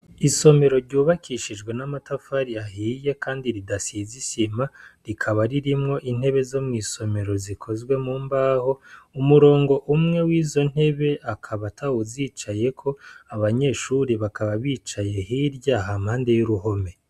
Isomero ryubakishijwe n' amatafari ahiye kandi ridasize isima rikaba ririmwo intebe zo mwisomero zikozwe mumbaho umurongo umwe wizo ntebe akaba atawuzicayeko abanyeshure bakaba bicaye hirya hampande y' uruhome.